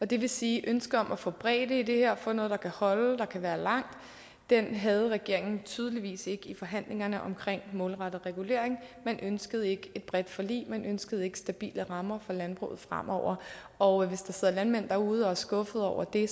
det vil sige at ønsket om at få bredde i det her få noget der kan holde der kan være langt havde regeringen tydeligvis ikke i forhandlingerne omkring målrettet regulering man ønskede ikke et bredt forlig man ønskede ikke stabile rammer for landbruget fremover og hvis der sidder landmænd derude som er skuffede over det